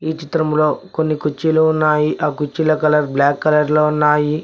ఈ చిత్రంలో కొన్ని కుర్చీలు ఉన్నాయి ఆ కుర్చీల కలర్ బ్లాక్ కలర్ లో ఉన్నాయి.